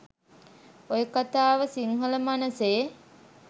ඔය කතාව සිංහල මනසෙ